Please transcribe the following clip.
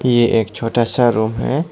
ये एक छोटा सा रूम है।